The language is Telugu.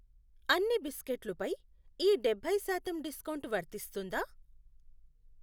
అన్ని బిస్కెట్లు పై ఈ డబ్బై శాతం డిస్కౌంట్ వర్తిస్తుందా?